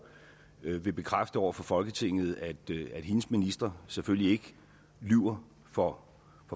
vil bekræfte over for folketinget at hendes ministre selvfølgelig ikke lyver for